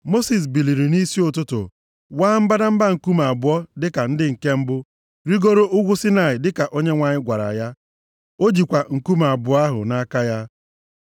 Mosis biliri nʼisi ụtụtụ, waa mbadamba nkume abụọ dịka ndị nke mbụ, rigoro ugwu Saịnaị dịka Onyenwe anyị gwara ya. Ọ jikwa nkume abụọ ahụ nʼaka ya.